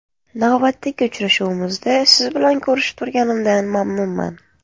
Navbatdagi uchrashuvimizda siz bilan ko‘rishib turganimdan mamnunman.